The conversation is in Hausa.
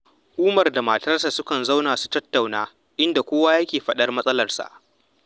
Umar da iyalansa sukan zauna su tattauna, inda kowa yake faɗar matsalarsa